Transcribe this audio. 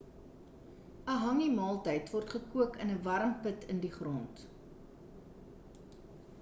'n hangi maaltyd word gekook in 'n warm put in die grond